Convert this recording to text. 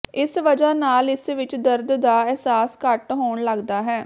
ਇਸ ਵਜ੍ਹਾ ਨਾਲ ਇਸ ਵਿੱਚ ਦਰਦ ਦਾ ਅਹਿਸਾਸ ਘੱਟ ਹੋਣ ਲੱਗਦਾ ਹੈ